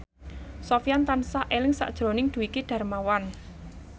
Sofyan tansah eling sakjroning Dwiki Darmawan